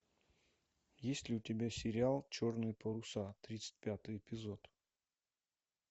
есть ли у тебя сериал черные паруса тридцать пятый эпизод